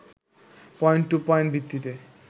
point-to-point ভিত্তিতে